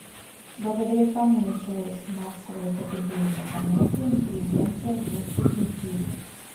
благодаря кому началось массовое употребление понятия интеллигенция в русской культуре